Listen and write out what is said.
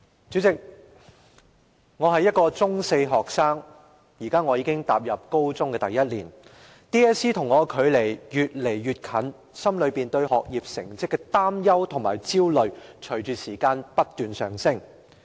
主席，"我是一個中四學生，現在我已踏入高中的第一年 ，DSE 和我的距離越來越近，心裏對學業成績的擔憂和焦慮隨着時間不斷上升。